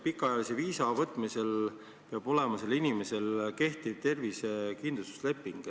Pikaajalise viisa taotlemisel peab inimesel olema kehtiv tervisekindlustuse leping.